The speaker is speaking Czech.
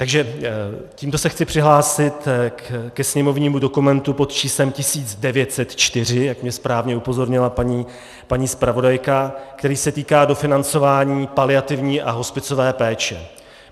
Takže tímto se chci přihlásit ke sněmovnímu dokumentu pod číslem 1904, jak mě správně upozornila paní zpravodajka, který se týká dofinancování paliativní a hospicové péče.